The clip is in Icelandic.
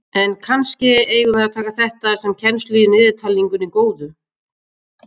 En kannske eigum við að taka þetta sem kennslu í niðurtalningunni góðu.